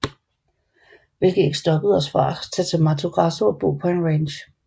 Hvilket ikke stoppede os fra at tage til Mato Grasso og bo på en ranch